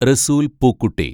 Rasool‍ Pookutty